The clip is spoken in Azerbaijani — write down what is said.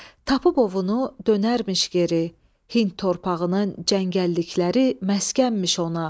Tapıb ovunu dönərmiş geri, Hind torpağının cəngəllikləri məskənmiş ona.